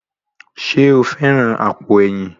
Ṣé o fẹ́ran àpò ẹ̀yìn?